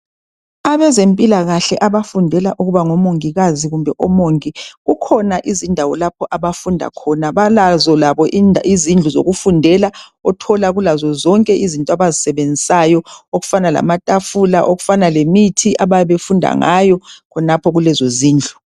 Abezempilakahle abafundela ukuba ngomongikazi kumbe omongi kukhona izindawo lapho abafunda khona balazo labo izindlu zokufundela uthola kulakho zonke izinto abazisebenzisayo akufana lamatafula, okufana lemithi ababe befunda ngayo khonapho kulezo zindlu.